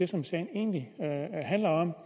som sagen egentlig handler om